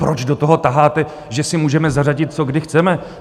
Proč do toho taháte, že si můžeme zařadit, co kdy chceme?